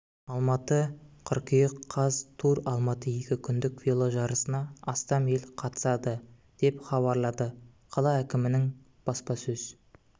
алматы қыркүйек қаз тур алматы екі күндік веложарысына астам ел қатысады деп хабарлады қала әкімінің баспасөз